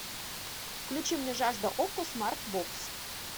включи мне жажда окко смарт бокс